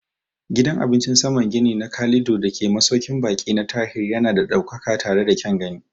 Gidan cin abincin saman gini na Calido dake a masaukin baƙi na Tahir yana da ɗaukaka tare da kyan gani.